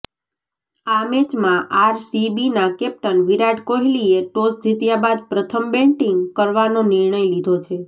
આ મેચમાં આરસીબીના કેપ્ટન વિરાટ કોહલીએ ટોસ જીત્યા બાદ પ્રથમ બેટિંગ કરવાનો નિર્ણય લીધો છે